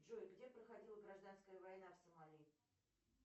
джой где проходила гражданская война в сомали